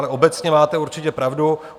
Ale obecně máte určitě pravdu.